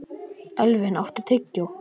Elvin, áttu tyggjó?